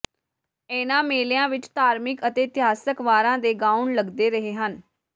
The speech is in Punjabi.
ਇਨ੍ਹਾਂ ਮੇਲਿਆਂ ਵਿੱਚ ਧਾਰਮਿਕ ਅਤੇ ਇਤਿਹਾਸਕ ਵਾਰਾਂ ਦੇ ਗਾਉਣ ਲੱਗਦੇ ਰਹੇ ਹਨ